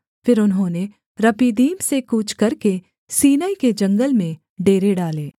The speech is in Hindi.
फिर उन्होंने रपीदीम से कूच करके सीनै के जंगल में डेरे डाले